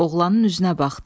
Oğlanın üzünə baxdı.